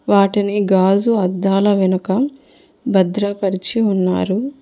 వాటిని గాజు అద్దాల వెనుక భద్రపరిచి ఉన్నారు.